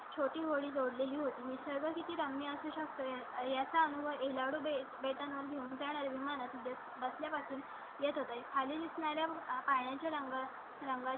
छोटी होडी जोड ली. ही सर्व माहिती त्यांनी असू शकते याचा अनुभव येईल याकडेच भेटणार घेऊन त्या विमानात बसल्या पासून येत होते. खाली असणार् या पाण्याच्या रंगा रंगाचे.